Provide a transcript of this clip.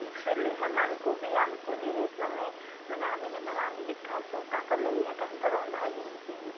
ହଁ ବି ଵାଲେ ସେମାଙ୍କୁ ବି ଆମକୁ ଜିନିଷ ଆମେ ଯେମିତି ରା଼ନ୍ଧୀକି ଖାଇ ଦଉସେ ତାଙ୍କର ଲାଗି ବି ସେତ ରନ୍ଧା ଜିନିଷ ହେଇଯିବ